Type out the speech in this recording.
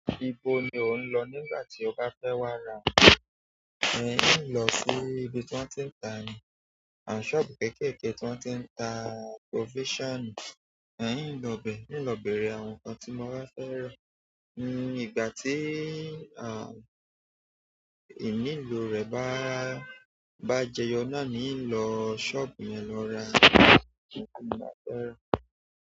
Ibo ni ò ń lọ nígbà tí ọ bá fẹ́ wá ra ń lo sí ibi tí wọ́n ti ń ta. Sọ́ọ̀bù kéékèèké tí wọ́n ti ń ta provision ń lọ bẹ̀, ń lọ bèrè àwọn nǹkan tí wọn bá fẹ́ rà. Ìgbà tí, à, ìnilo rẹ̀ bá, bá jẹyọ náà ni ń lọ sọ́ọ̀bù yẹn lọ ra àwọn nǹkan tí wọ́n bá fẹ́ rà.